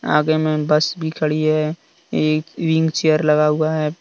आगे मैं बस भी खड़ी है एक व्हील चेयर लगा हुआ है।